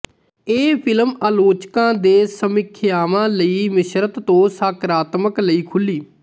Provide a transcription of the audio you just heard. ਇਹ ਫਿਲਮ ਆਲੋਚਕਾਂ ਦੇ ਸਮੀਖਿਆਵਾਂ ਲਈ ਮਿਸ਼ਰਤ ਤੋਂ ਸਕਾਰਾਤਮਕ ਲਈ ਖੁੱਲ੍ਹੀ